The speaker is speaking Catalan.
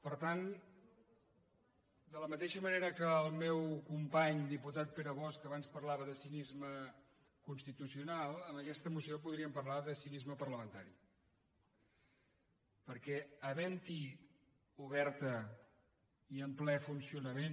per tant de la mateixa manera que el meu company diputat pere bosch abans parlava de cinisme constitucional en aquesta moció podríem parlar de cinisme parlamentari perquè haventhi oberta i en ple funcionament